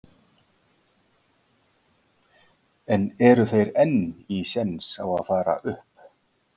En eru þeir enn í séns á að fara upp?